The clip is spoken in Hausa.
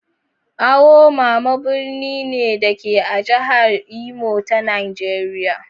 Awo mama birni ne, da ke a jihar Imo ta Najeriya.